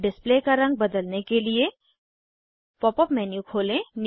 display का रंग बदलने के लिए पॉप अप मेन्यू खोलें